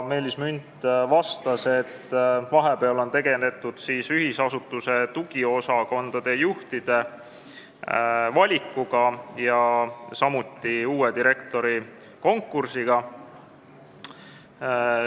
Meelis Münt vastas, et vahepeal on tegeletud ühendasutuse tugiosakondade juhtide valikuga ja samuti uue direktori konkursiga.